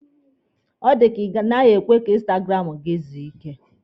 Ọ dịka Ị naghị ekwe ka instagramụ gị zuo ike!